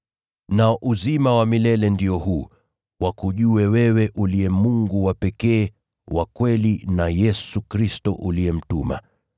Nao uzima wa milele ndio huu, wakujue wewe uliye Mungu wa pekee, wa kweli na Yesu Kristo uliyemtuma.